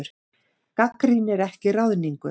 Gagnrýnir ekki ráðningu